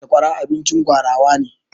Sakwara abincin gwarawa ne.